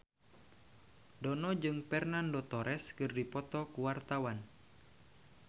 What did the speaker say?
Dono jeung Fernando Torres keur dipoto ku wartawan